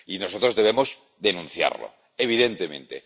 Y nosotros debemos denunciarlo, evidentemente.